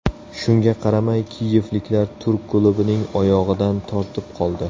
Shunga qaramay kiyevliklar turk klubining oyog‘idan tortib qoldi.